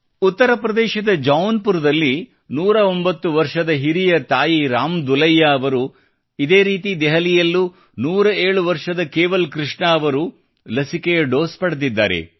ಉತ್ತರ ಪ್ರದೇಶದ ಜೌನ್ಪುರದಲ್ಲಿ 109 ವರ್ಷದ ಹಿರಿಯ ತಾಯಿ ರಾಮ್ ದುಲೈಯ್ಯಾ ಅವರು ಇದೇ ರೀತಿ ದೆಹಲಿಯಲ್ಲೂ 107 ವರ್ಷದ ಕೇವಲ್ ಕೃಷ್ಣ ಅವರು ಲಸಿಕೆಯ ಡೋಸ್ ಪಡೆದಿದ್ದಾರೆ